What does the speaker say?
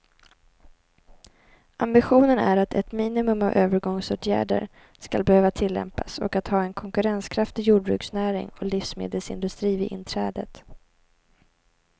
Ambitionen är att ett minimum av övergångsåtgärder skall behöva tillämpas och att ha en konkurrenskraftig jordbruksnäring och livsmedelsindustri vid inträdet.